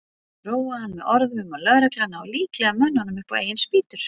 Róa hann með orðum um að lögreglan nái líklega mönnunum upp á eigin spýtur.